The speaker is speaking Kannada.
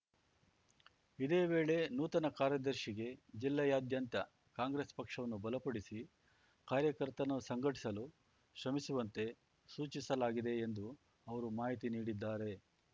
ಇದೇ ವೇಳೆ ನೂತನ ಕಾರ್ಯದರ್ಶಿಗೆ ಜಿಲ್ಲೆಯಾದ್ಯಂತ ಕಾಂಗ್ರೆಸ್‌ ಪಕ್ಷವನ್ನು ಬಲಪಡಿಸಿ ಕಾರ್ಯಕರ್ತರನ್ನು ಸಂಘಟಿಸಲು ಶ್ರಮಿಸುವಂತೆ ಸೂಚಿಸಲಾಗಿದೆ ಎಂದು ಅವರು ಮಾಹಿತಿ ನೀಡಿದ್ದಾರೆ